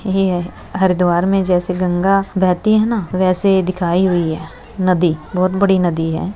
येहे हरिद्वार में जैसे गंगा बहती है ना वैसे दिखाई हुई है नदी बहुत बड़ी नदी है।